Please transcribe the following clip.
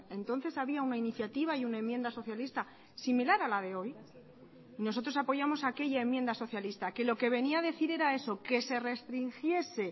entonces había una iniciativa y una enmienda socialista similar a la de hoy y nosotros apoyamos aquella enmienda socialista que lo que venía a decir era eso que se restringiese